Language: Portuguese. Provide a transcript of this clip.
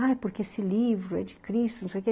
Ah, é porque esse livro é de Cristo, não sei o quê.